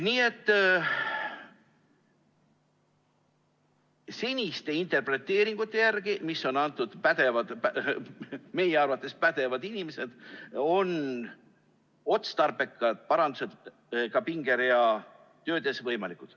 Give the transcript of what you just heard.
Nii et seniste interpreteeringute järgi, mille on andnud meie arvates pädevad inimesed, on otstarbekad parandused ka tööde pingereas võimalikud.